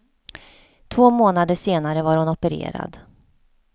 Två månader senare var hon opererad.